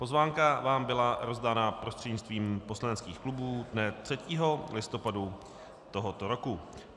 Pozvánka vám byla rozdaná prostřednictvím poslaneckých klubů dne 3. listopadu tohoto roku.